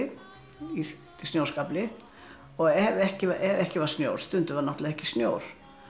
í snjóskafli og ef ekki var ekki var snjór stundum var ekki snjór